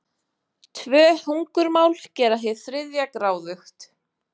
Tvö hungurmál gera hið þriðja gráðugt.